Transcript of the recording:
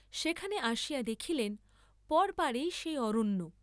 সেখানে আসিয়া দেখিলেন, পরপারেই সেই অরণ্য।